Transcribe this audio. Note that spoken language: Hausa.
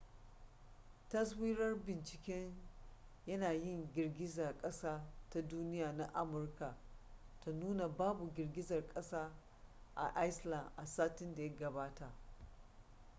taswirar binciken yanayin girgizar kasa ta duniya na amurka ta nuna babu girgizar kasa a iceland a satin da ya gabata